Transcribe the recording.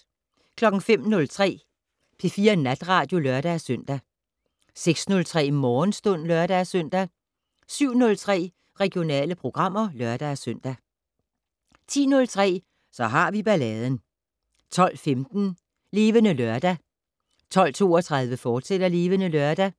05:03: P4 Natradio (lør-søn) 06:03: Morgenstund (lør-søn) 07:03: Regionale programmer (lør-søn) 10:03: Så har vi balladen 12:15: Levende Lørdag 12:32: Levende Lørdag,